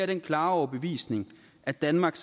den klare overbevisning at danmark